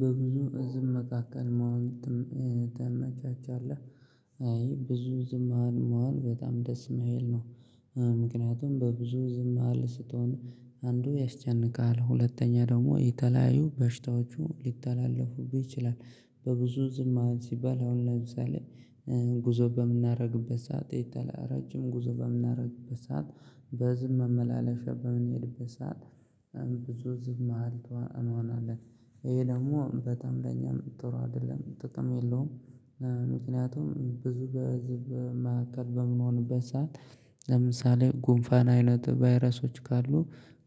በብዙ ዝም መካከል መሆን ትናጫጫለህ አይ ብዙ ዝም መሃል መዋል በጣም ደስ የማይል ነው። ምክንያቱም በብዙ ዝም መሃል ስትሆን አንዱ ያስጨንቃል ሁለተኛ ደግሞ የተለያዩ በሽታዎቹ ሊተላለፉብህ ይችላል በብዙ ዝም መዋል ሲባል አሁን ለምሳሌ ትናጫጫለህ አይ ብዙ ዝም መሃል መዋል በጣም ደስ የማይል ነው። ምክንያቱም በብዙ ዝም መሃል ስትሆን አንዱ ያስጨንቃል ሁለተኛ ደግሞ የተለያዩ በሽታዎቹ ሊተላለፉብህ ይችላል በብዙ ዝም ሲባል አሁን ለምሳሌ ይሄ ደግሞ በጠም ለኛም ጥሩ አይደለም ጥቅም የለውም። ምክንያቱም ብዙ በዚህ መካከል በምንሄንበት ሰዓት ለምሳሌ ጉንፋን አይነት ቨይረሶች ካሉ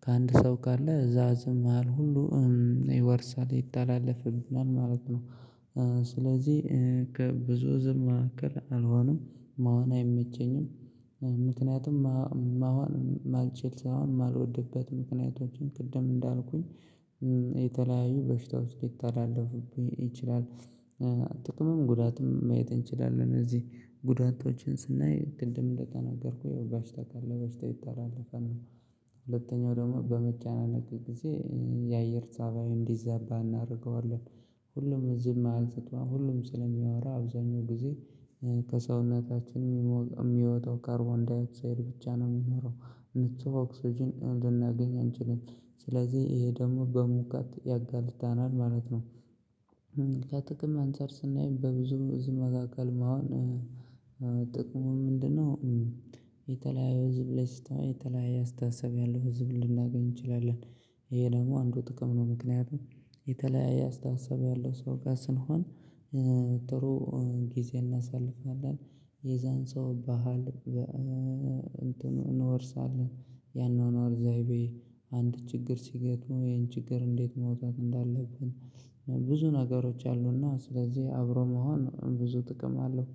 ከአንድ ሰው ካለ እዛ ዝም መሃል ሁሉ ይወርሳል ይተላለፋል ማለት ነው ስለዚህ ከብዙ ዝም ማካከል አልሆንም መሆን አይመቸኝም ምክንያቱም መሆን ማልቼልስ ያህል ማልወድበት ምክንያቶችን ቅድም እንዳልኩኝ የተለያዩ በሽታዎች ልተላለፉብህ ይችላል ጥቅምም ጉዳትም ማየት እንችላለን እዚህ ጉዳቶችን ስናይ ቅድም እንደተናገርኩ የው በሽታ ካለ በሽታ ይታለፈን ነው ሁለተኛው ደግሞ በመጫነቅ ጊዜ የአየር ሰብአዊ እንዲዛባ እናደርገዋለን ሁሉም ዝም አልሰጠውም ሁሉም ስለሚያወራ አብዛኛው ጊዜ ከሰውነታችን የሚወጣው ካርቦንዳይ ኦክሳይድ ብቻ ነው የሚኖረው ምቹ ኦክስጅን ልናገኝ አንችልም ስለዚህ ይሄ ደግሞ በሙቀት ያጋልጣናል ማለት ነው። ከጥቅም አንፃር ስናይ በብዙ ብዙ መካከል መሆን ጥቅሙ ምንድነው የተለያየ ህዝብ ላይ ስትታወይ የተለያየ አስተሳሰብ ያለው ህዝብ ልናገኝ እንችላለን ይሄ ደግሞ አንዱ ጥቅም ነው ምክንያቱም የተለያየ አስተሳሰብ ያለው ሰው ጋር ስንሆን ጥሩ ጊዜ እናሳልፋለን የዛን ሰው ባህል እንትኑ እንወርሳለን ያንን አርዛይቤ አንድ ችግር ሲገጥሙ ይሄን ችግር እንዴት መውጣት እንዳለብን ብዙ ነገሮች አሉና ስለዚህ አብሮ መሆን ብዙ ጥቅም አለው።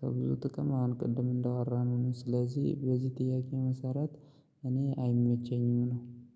ከብዙ ጥቅም አሁን ቅድም እንዳወራነው ነው። ስለዚህ በዚህ ጥያቄ መሰረት እኔ አይመቸኝም ነው።